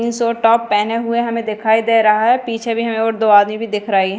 Jeans और top पहने हुए हमें दिखाई दे रहा है पिछे भी हमें और दो आदमी भी दिख रही हैं।